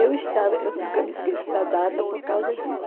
Eu estava eu nunca me esqueço da data por causa disso.